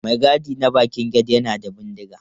Mai gadi na bakin gate yana da bindiga.